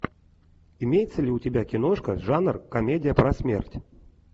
имеется ли у тебя киношка жанр комедия про смерть